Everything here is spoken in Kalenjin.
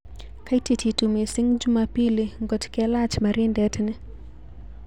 Katititu mising' jumapili ngot kelach marindet ni